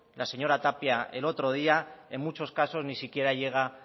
la señora tapia el otro día en muchos casos ni siquiera llega